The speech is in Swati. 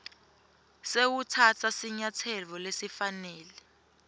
sewutsatsa sinyatselo lesifanele